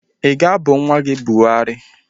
I ga-abụ nwa gị Buhari?